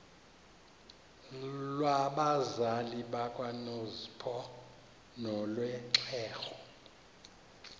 lwabazali bakanozpho nolwexhego